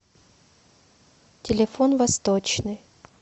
телефон восточный